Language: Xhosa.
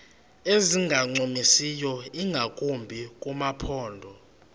ezingancumisiyo ingakumbi kumaphondo